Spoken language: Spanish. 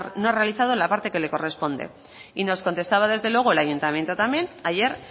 no ha realizado la parte que le corresponde y nos contestaba desde luego el ayuntamiento también ayer